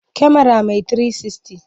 Kyamara mai 360.